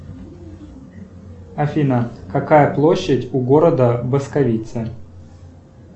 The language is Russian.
афина какая площадь у города басковица